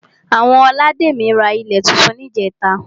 Àwọn olademi ra ilé túntún ní ìjẹ́ta